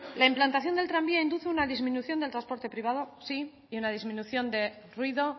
la implantación del tranvía induce una disminución de transporte privado y una disminución de ruido